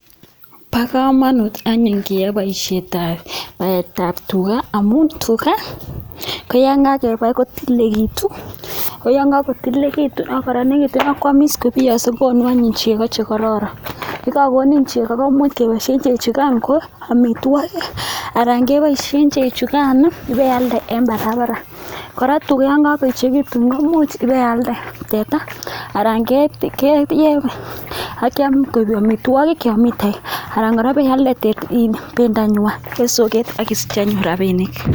Bo komonut anyun keai boisietab baetab tuga amu tuga koyokakebai kotililekitu koya kakotililekitu ako kora konekit kwamis kobiyongso kookonu anyun chego chekororon yekekokoninchego komuch koboisie chek chukai eng amitwokik anan keboisie chechugan kealde eng barabara kora tuga yo kaechekitu komuch kealda teta anan keeny akeam koek amitwokik yomi toek anan kora ialde [iin] bendonywa eng soket akisich anyun rabinik.